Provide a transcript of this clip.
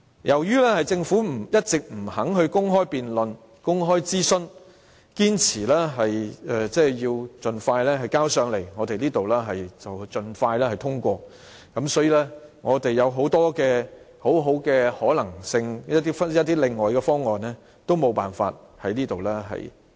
由於政府一直不肯公開辯論和公開諮詢，堅持盡快提交立法會和盡快通過，所以，很多其他的可能性和方案都無法提出。